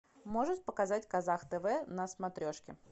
можешь показать казах тв на смотрешке